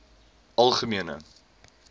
algemene